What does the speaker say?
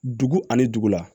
Dugu ani dugu la